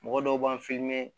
Mɔgɔ dɔw b'an